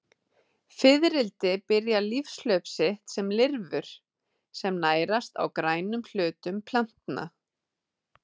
Fiðrildi byrja lífshlaup sitt sem lirfur sem nærast á grænum hlutum plantna.